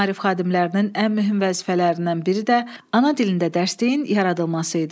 Maarif xadimlərinin ən mühüm vəzifələrindən biri də ana dilində dərsliklərin yaradılması idi.